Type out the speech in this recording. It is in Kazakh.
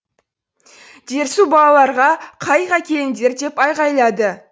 дерсу балаларға қайық әкеліңдер деп айғайлады